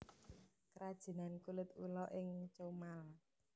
Krajinan Kulit Ula ing Comal